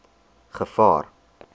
gevaar